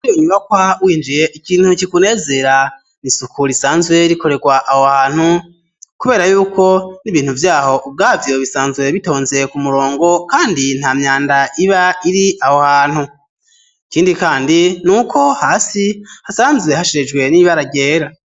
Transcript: Inyubakwa winjiye ikintu kikunezera nisuku risanzwe rikorerwa aho hantu kubera yuko n'ibintu vyaho ubwaho bisanzwe bitonze ku murongo kandi nta myanda iba iri aho hantu ikindi kandi nuko hasi hasanzwe hasharijwe n'ibara ryera.